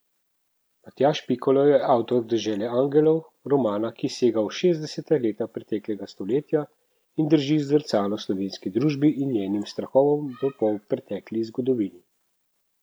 Matjaž Pikalo je avtor Dežele angelov, romana, ki sega v šestdeseta leta preteklega stoletja, in drži zrcalo slovenski družbi in njenim strahovom v polpretekli zgodovini.